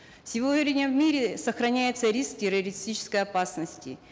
сегодня в мире сохраняется риск террористической опасности